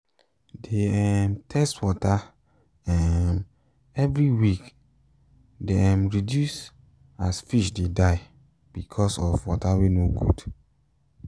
de um test water um every week e de um reduce as fish de die because of water wen no good